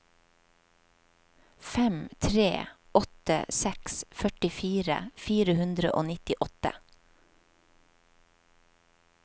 fem tre åtte seks førtifire fire hundre og nittiåtte